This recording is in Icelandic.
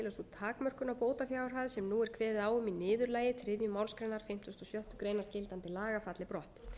á bótafjárhæð sem nú er kveðið á um í niðurlagi þriðju málsgrein fimmtugustu og sjöttu grein gildandi laga falli brott